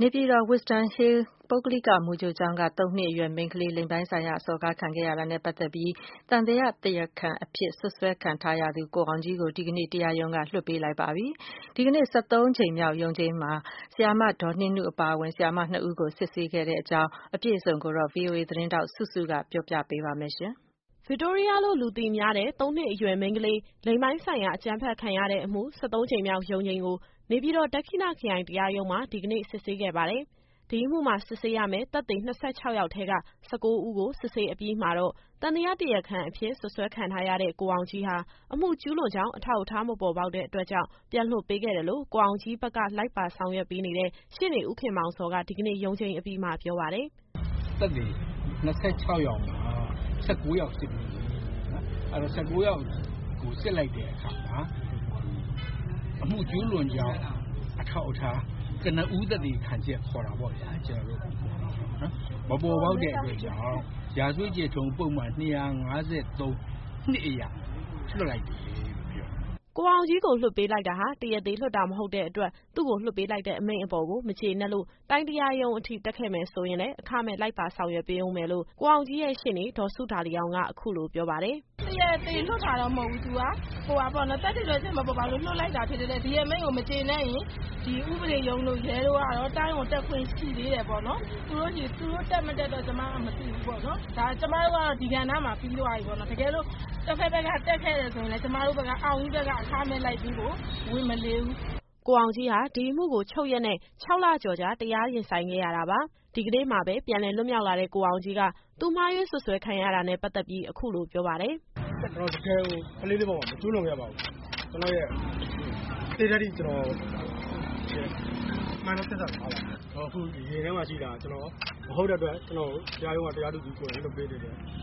နေပြည်တော် Wisdom Hill ပုဂ္ဂလိက မူကြိုကျောင်းက သုံးနှစ်အရွယ် မိန်းကလေး လိင်ပိုင်းဆိုင်ရာ စော်ကားခံရတာနဲ့ ပတ်သက်ပြီး သံသယ တရားခံအဖြစ် စွပ်စွဲခံထားရတဲ့ ကိုအောင်ကြီးကို ဒီကနေ့ တရားရုံးက လွှတ်ပေးလိုက်ပါပြီ။ ဒီကနေ့ ကြိမ်မြောက်ရ ုံးချိန်းမှာ ဆရာမနှင်းနုအပါအဝင် ဆရာမ နှစ်ဦးကို စစ်ဆေးခဲ့တာပါ။ ဒီအကြောင်းအပြည့်အစုံကို ဗွီအိုအေသတင်းထောက် စုစုကတင်ဆက်ပေးပါမယ်။ ဗစ်တိုးရီးယားလို့ လူသိများတဲ့ သုံးနှစ်အရွယ် မိန်းကလေး လိင်ပိုင်းဆိုင်ရာ အကြမ်းဖက်ရတဲ့အမှု ကြိမ်မြောက်ရုံးချိန်းကို နေပြည်တော် ဒက္ခိဏခရိုင်တရားရုံးမှာ ဒီကနေ့ စစ်ဆေးခဲ့ပါတယ်။ ဒီအမှုမှာ စစ်ဆေးရမယ့် သက်သေ ၂၆ ယောက်ထဲက ၁၉ ဦးကို စစ်ဆေးအပြီးမှာတော့ သံသယတရားအဖြစ် စွပ်စွဲခံထားရတဲ့ ကိုအောင်ကြီးဟာ အမှု ကျူးလွန်ကြောင်း အထောက်အထား မပေါ်ပေါက်တဲ့ အတွက်ကြောင့် ပြန်လွှတ်ပေးခဲ့တယ်လို့ ကိုအောင်ကြီးဘက်က လိုက်ပါဆောင်ရွက်ပေးနေတဲ့ ရှေ့နေ ဦးခင်မောင်ဇော်က ဒီကနေ့ ရုံးချိန်းအပြီးမှာ ပြောပါတယ်။ “သက်သေ ၂၆ ယောက်မှာ ၁၉ ယောက် စစ်ပြီးပြီ။ အဲတော့ ၁၉ ယောက်ကို စစ်လိုက်တဲ့အခါမှာ အမှု ကျူးလွန်ကြောင်း အထောက်အထား၊ ကနဦး သက်သေခံချက် ခေါ်တာပေါ့ဗျာ။ မပေါ်ပေါက်တဲ့အတွက်ကြောင့် ရာဇဝတ်ကျင့်ထုံး ပုဒ်မ ၂၅၃ အရ လွှတ်လိုက်တယ်လို့ ပြောတယ်။” ကိုအောင်ကြီးကို လွှတ်ပေးလိုက်တာဟာ တရားသေလွှတ်တာ မဟုတ်တဲ့အတွက် သူ့ကို လွှတ်ပေးလိုက်တဲ့ အမိန့်အပေါ်ကို မကျေနပ်လို့ တိုင်းတရားရုံးအထိ တက်ခဲ့မယ်ဆိုရင်လည်း အခမဲ့လိုက်ပါ ဆောင်ရွက်ပေးဦးမယ်လို့ ကိုအောင်ကြီးရဲ့ ရှေ့နေ ဒေါ်စုဒါလီအောင်က အခုလိုပြောပါတယ်။ “တရားသေလွှတ်တာတော့ မဟုတ်ဘူး။ သက်သေထွက်ချက် မပေါ်ပေါက်တဲ့အတွက် လွှတ်လိုက်တာ ဖြစ်တဲ့အတွက် ဒီအမိန့်ကို မကျေနပ်ရင် ဒီဥပဒေရုံးတို့၊ ရဲတို့ကတော့ တိုင်းကိုတက်ခွင့် ရှိသေးတယ်ပေါ့နော်။ သူတို့တက်၊ မတက်တော့ ကျမတို့ မသိဘူးပေါ့နော်။ ကျမတို့ကတော့ ဒီကဏ္ဍမှာ ပြီးသွားပြီ။ တကယ်လို့ တဘက်ဘက်က တက်ခဲ့မယ်ဆိုလို့ ရှိရင်လည်း ကျမတို့က အောင်ကြီးဘက်က အခမဲ့လိုက်ပေးဖို့ ဝန်မလေးဘူး။” ကိုအောင်ကြီးဟာ ဒီအမှုကို ချုပ်ရက်နဲ့ ခြောက်လကျော်ကြာ တရားရင်ဆိုင်ခဲ့ရတာပါ။ ဒီကနေ့မှာပဲ ပြန်လည်လွတ်မြောက်လာတဲ့ ကိုအောင်ကြီးက သူမှားယွင်း စွပ်စွဲခံရတာနဲ့ ပတ်သက်ပြီး အခုလိုပြောပါတယ်။ “ကျနော်တကယ်ကို ကလေးလေးအပေါ် မကျူးလွန်ခဲ့ပါဘူး။ ကျနော်သေတဲ့အထိ ကျနော့်ရဲ့ မှန်သော သစ္စာစကားပါပဲ။ ကျနော်အခု ရင်ထဲမှာ ရှိတာက ကျနော် မဟုတ်တဲ့အတွက် တရားရုံးက တရားသူကြီးကိုယ်တိုင် လွှတ်ပေးတယ်။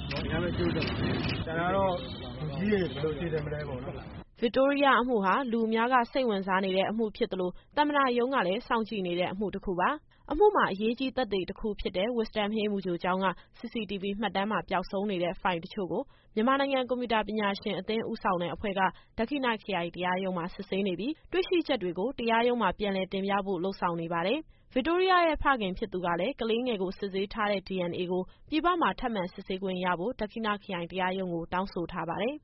ကျနော်အရမ်းပဲ ကျေးဇူးတင်ပါတယ်။ ကျန်တာကတော့ လောလောဆယ် ဘာမှန်းမသိသေးတဲ့အတွက် လူကြီးတွေ ဘယ်လိုစီစဉ်မလဲ မသိသေးဘူးပေါ့နော်။” ဗစ်တိုးရီးယားအမှုဟာ လူအများက စိတ်ဝင်စားနေတဲ့ အမှုဖြစ်သလို သမ္မတရုံးကလည်း စောင့်ကြည့်နေတဲ့ အမှုတခုပါ။ အမှုမှာ အရေးကြီးသက်သေတခုဖြစ်တဲ့ Wisdom Hill မူကြိုကျောင်းက CCTV မှတ်တမ်းမှာ ပျောက်နေတဲ့ ဖိုင်တချို့ကို မြန်မာနိုင်ငံကွန်ပျူတာ ပညာရှင်အသင်းဦးဆောင်တဲ့ အဖွဲ့က ဒက္ခိဏခရိုင ်တရားရုံးမှာ စစ်ဆေးနေပြီး တွေ့ရှိချက်တွေကို တရားရုံးမှာ ပြန်လည်တင်ပြဖို့ လုပ်ဆောင်နေပါတယ်။ ဗစ်တိုးရီးယားရဲ့ ဖခင်ဖြစ်သူကလည်း ကလေးငယ်ကို စစ်ဆေးထားတဲ့ DNA ကို ပြည်ပမှာ ထပ်မံစစ်ဆေးခွင့်ရဖို့ ဒက္ခိဏခရိုင် ဥပဒေရုံးကို တောင်းဆိုထားပါတယ်။